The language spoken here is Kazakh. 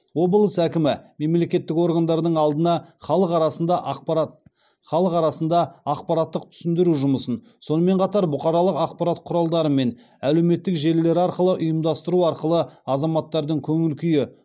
облыс әкімі мемлекеттік органдардың алдына халық арасында ақпарат халық арасында ақпараттық түсіндіру жұмысын сонымен қатар бұқаралық ақпарат құралдары мен әлеуметтік желілер арқылы ұйымдастыру арқылы азаматтардың көңіл күйі